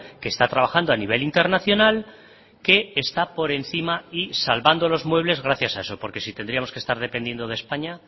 que está trabajando a nivel internacional que está por encima y salvando los muebles gracias a eso porque si tendríamos que estar dependiendo de españa